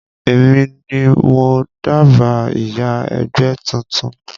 Èmi ni mo dábàá ìyá ẹgbẹ́ tuntun